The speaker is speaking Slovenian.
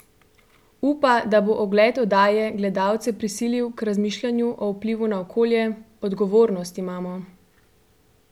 Upa, da bo ogled oddaje gledalce prisilil k razmišljanju o vplivu na okolje: ''Odgovornost imamo.